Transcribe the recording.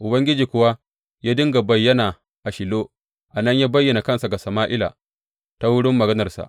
Ubangiji kuwa ya dinga bayyana a Shilo, a nan ya bayyana kansa ga Sama’ila ta wurin maganarsa.